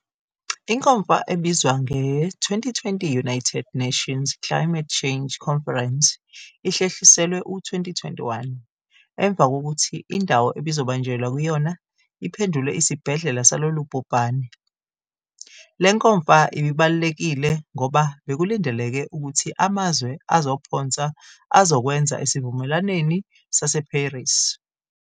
Inkomfa ebizwa nge-2020 United Nations Climate Change Conference ihlehliselwe u-2021 emva kokuthi indawo ebizobanjelwa kuyona iphendulwe isibhedlela salolubhubhane. Le nkomfa ibibalulekile ngoba bekulindeleke ukuthi amazwe azophonsa azokwenza esivumelwaneni sase-Paris.